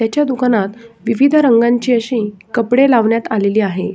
याच्या दुकानात विविध रंगांची अशी कपडे लावण्यात आलेली आहे.